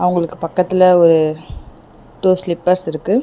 அவங்களுக்கு பக்கத்துல ஒரு டூ ஸ்லிப்பர்ஸ் இருக்கு.